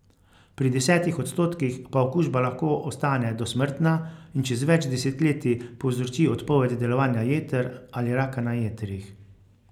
Pri desetih odstotkih pa okužba lahko ostane dosmrtna in čez več desetletij povzroči odpoved delovanja jeter ali raka na jetrih.